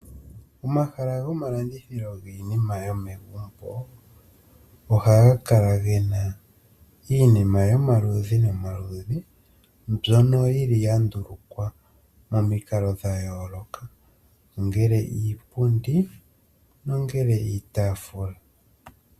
Omahala gomalandithilo giinima yomegumbo, ohaga kala gena iinima yomaludhi nomaludhi mbyono yandulukwa momikalo dhayooloka ngele iipundi nongele iitaafula